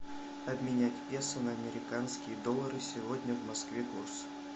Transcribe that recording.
обменять песо на американские доллары сегодня в москве курс